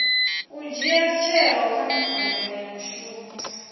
dzhia tsheo nga ha mbekanyamushumo